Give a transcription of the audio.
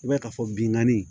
I b'a ye k'a fɔ binganni